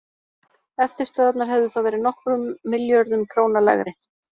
Eftirstöðvarnar hefðu þá verið nokkrum milljörðum króna lægri.